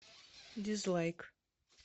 дизлайк